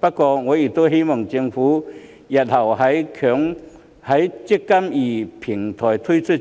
不過，我亦希望政府日後在"積金易"平台推出後，